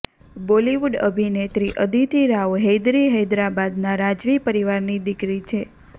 બોલિવૂડ અભિનેત્રી અદિતી રાવ હૈદરી હૈદરાબાદના રાજવી પરિવારની દીકરી છે